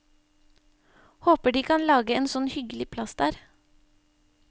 Håper de kan lage en sånn hyggelig plass der.